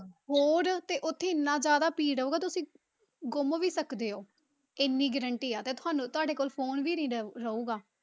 ਹੋਰ ਤੇ ਉੱਥੇ ਇੰਨਾ ਜ਼ਿਆਦਾ ਭੀੜ ਹੋਊਗਾ, ਤੁਸੀਂ ਗੁੰਮ ਵੀ ਸਕਦੇ ਹੋ, ਇੰਨੀ guarantee ਹੈ ਤੇ ਤੁਹਾਨੂੰ ਤੁਹਾਡੇ ਕੋਲ phone ਵੀ ਨੀ ਰਹੂ~ ਰਹੇਗਾ।